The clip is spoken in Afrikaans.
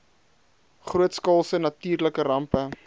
grootskaalse natuurlike rampe